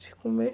De comer?